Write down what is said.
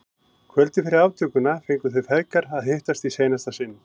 Kvöldið fyrir aftökuna fengu þeir feðgar að hittast í seinasta sinn.